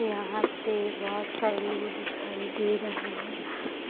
यहाँ पे बोहोत सारे लोग दिखाई दे रहे है।